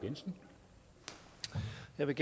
med